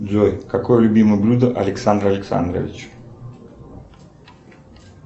джой какое любимое блюдо александра александровича